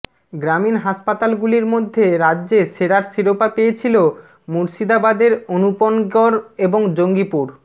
গ্রামীণ হাসপাতালগুলির মধ্যে রাজ্যে সেরার শিরাপো পেয়েছিল মুর্শিদাবাদের অনুপনগর এবং জঙ্গিপুর